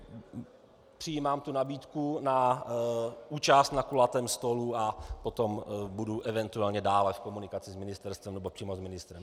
Přijímám vaši nabídku na účast na kulatém stolu a potom budu eventuálně dále v komunikaci s ministerstvem nebo přímo s ministrem.